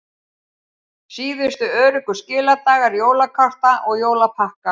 Síðustu öruggu skiladagar jólakorta og jólapakka